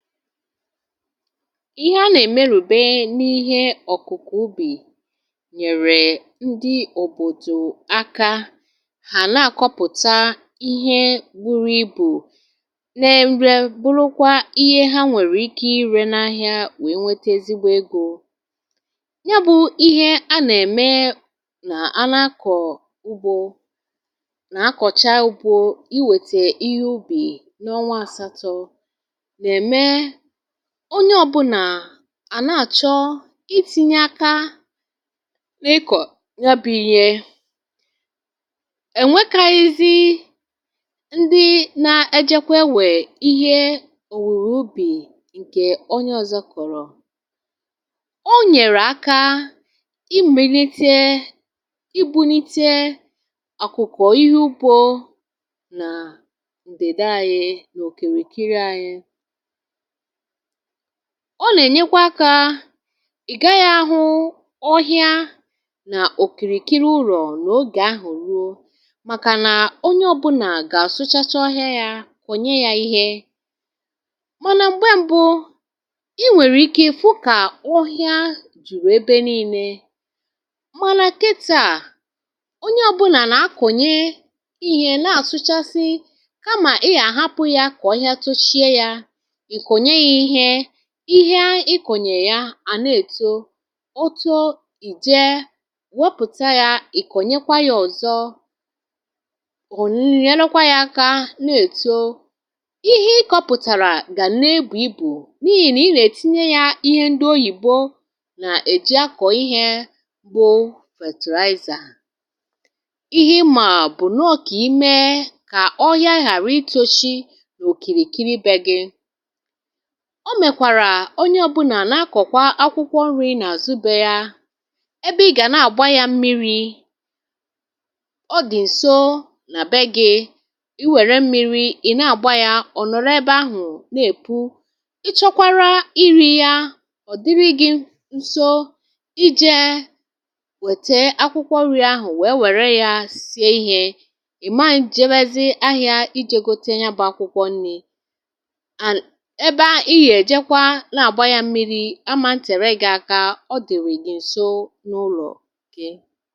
ihẹ a nà èmerùbe n’ihe ọ̀kụ̀kụ̀ ubì nyẹ̀rẹ̀ ndị òbòdò aka hà nà kọpụ̀ta ihẹ buru ibù n’ẹmẹ bụrụkwa ihe ha nwẹ̀rẹ̀ ịke ire n’ahịa wee nwete ezigbo egō ya bụ̄ ihe ha nà ẹ̀mẹ nà a na akọ̀ ugbō nà akọ̀cha bụ̀ iwètè ihe ubì n’ọnwa asatọ n’ẹ̀mẹ onye ọbụnà ànà àchọ ịtīnye aka n’ịkọ̀ ya bụ̄ ihẹ ẹ̀nwẹkaghịzị ndị na ẹjẹkwa ewè ihẹ òwùwò ubì ǹkẹ̀ onye ọzọ kọ̀rọ̀ ọ nyẹ̀rẹ̀ aka ị gbìlite ị būnite ọ̀kụ̀kọ̀ ihe ugbō nà ǹdìda anyị nà òkìrìkiri anyị ọ nà ènyekwa akā ị̀ gaghị ahụ ọhịa nà òkìrìkiri ụlọ̀ nà ogè ahụ̀ ruo màkà nà onye ọbunà gà àsụchacha ọhịa yā ọ̀ nyẹ ya ihẹ mànà m̀gbẹ mbụ ị nwẹ̀rẹ̀ ike ị̀ fụ kà ọhịa jùrù ebe nine mànà kità onye ọbụnà nà akọ̀nye ihē nà àsụchasị kamà ị yà àhapụ ya kà ọhịa tushie yā ị̀ kọ̀nye ya ihẹ ihẹ ị kọ̀nyè ya à nà èto o too ị̀ jẹ wopùta yā ị̀ kọ̀nyẹkwa yā ọ̀zọ nyẹlụkwa yā aka nà èto ihẹ ị kọ̄pụ̀tàrà gà na ebù ibù n’ihì nà ị nà ètinye ya ihe ndị̇ oyìbo nà èji akọ̀ ihē wụ fètìrayzà ihẹ ị mà bụ̀ nà ọ kà ịmẹ kà ọhịa ghàra itōshi òkìrìkiri bẹ̄ gị̄ ọ mẹ̀kwàrà onye ọbụnà na akọ̀kwa akwụkwọ nrị̄ nà àzụ beē yā ẹbẹ ị gà nà gba yā mmiri ọ dị̀ ǹso nà bẹ gị̄ ịwẹ̀rẹ mmiri ị̀ nà àgba yā ọ̀ nọ̀rọ ẹbẹ ahụ̀ nà èpu ị chọkwara ịrī ya ọ̀ dịrị gị̄ nso ịjẹ̄ wẹ̀tẹ akwụkwọ nrị̄ ahụ̀ wẹ wẹ̀rẹ ya sie ihē ị̀man jẹbẹzị ahịā ijē gote ya bụ̄ akwụkwọ nnị̄ ẹbẹ ahụ̀ ị yà ẹ̀jẹkwa nà àgba ya mmiri aman̄ tẹ̀rẹ gị̄ aka ọ dị̀rị̀ gị̀ ǹso n’ulọ̀ gị